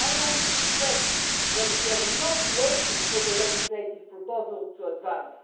I want to stress that we are not waiting for the legislative proposal to advance.